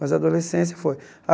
Mas a adolescência foi.